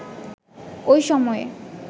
ওই সময়ে